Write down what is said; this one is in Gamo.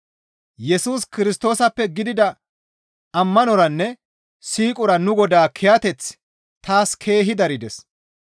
Yesus Kirstoosappe gidida ammanoranne siiqora nu Godaa kiyateththi taas keehi darides.